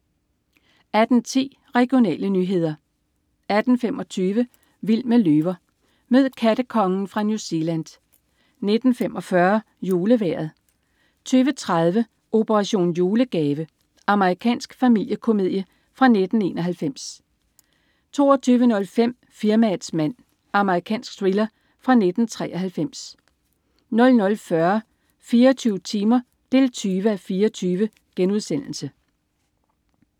18.10 Regionale nyheder 18.25 Vild med løver. Mød "kattekongen" fra New Zealand 19.45 JuleVejret 20.30 Operation julegave. Amerikansk familiekomedie fra 1991 22.05 Firmaets mand. Amerikansk thriller fra 1993 00.40 24 timer 20:24*